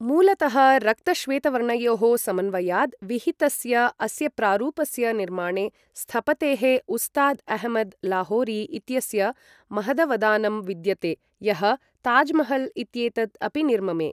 मूलतः रक्तश्वेतवर्णयोः समन्वयाद् विहितस्य अस्यप्रारूपस्य निर्माणे स्थपतेः उस्ताद् अहमद् लाहोरी इत्यस्य महदवदानं विद्यते यः ताजमहल् इत्येतद् अपि निर्ममे।